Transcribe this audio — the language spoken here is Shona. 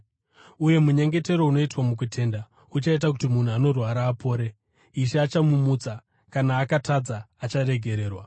Uye munyengetero unoitwa mukutenda uchaita kuti munhu anorwara apore; Ishe achamumutsa. Kana akatadza, acharegererwa.